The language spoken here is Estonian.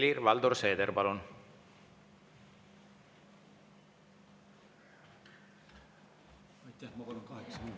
Helir-Valdor Seeder, palun!